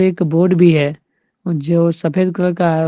एक बोर्ड भी है जो सफेद कलर का है।